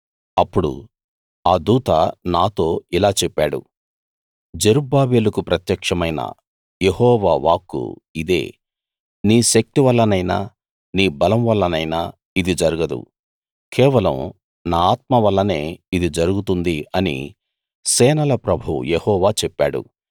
అప్పుడు ఆ దూత నాతో ఇలా చెప్పాడు జెరుబ్బాబెలుకు ప్రత్యక్షమైన యెహోవా వాక్కు ఇదే నీ శక్తి వల్లనైనా నీ బలం వల్లనైనా ఇది జరగదు కేవలం నా ఆత్మ వల్లనే ఇది జరుగుతుంది అని సేనల ప్రభువు యెహోవా చెప్పాడు